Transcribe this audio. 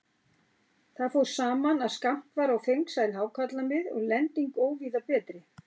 Þar fór saman, að skammt var á fengsæl hákarlamið og lending óvíða betri.